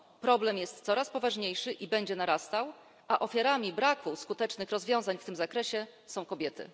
Problem jest coraz poważniejszy i będzie narastał, a ofiarami braku skutecznych rozwiązań w tym zakresie są kobiety.